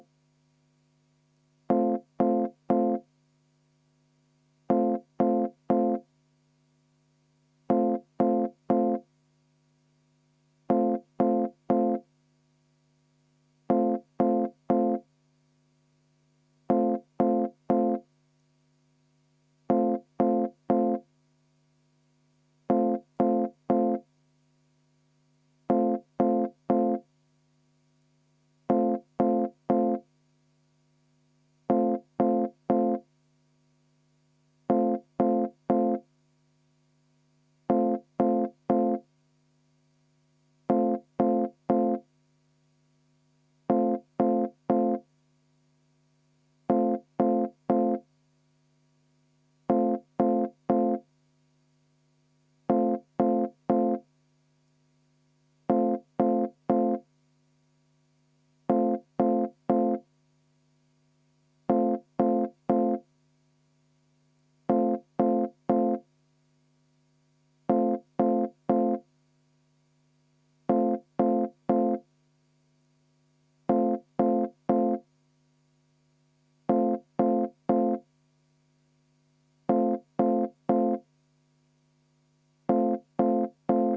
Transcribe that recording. V a h e a e g